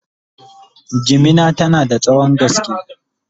jimina tana da tsawon gaske